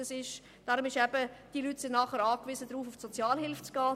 Diese Leute sind dann darauf angewiesen, zum Sozialdienst zu gehen.